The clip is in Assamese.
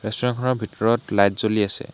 ৰেষ্টোৰেন্ত খনৰ ভিতৰত লাইট জ্বলি আছে।